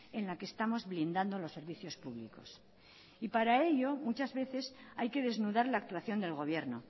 en la que estamos blindando los servicios públicos y para ello muchas veces hay que desnudar la actuación del gobierno